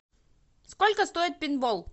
сколько стоит пейнтбол